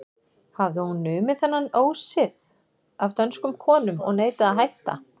Hafði hún numið þennan ósið af dönskum konum og neitaði að hætta.